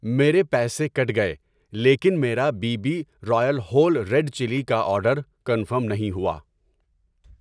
میرے پیسے کٹ گئے لیکن میرا B B royal whole red chilli کا آرڈر کنفرم نہیں ہوا